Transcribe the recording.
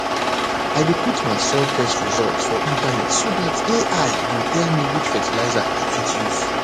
i dey put my soil test results for internet so dat ai go tell me which fertilizer i fit use